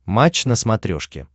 матч на смотрешке